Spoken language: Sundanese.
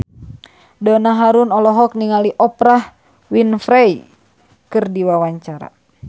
Donna Harun olohok ningali Oprah Winfrey keur diwawancara